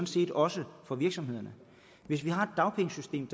set også for virksomhederne hvis vi har et dagpengesystem